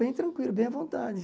Bem tranquilo, bem à vontade.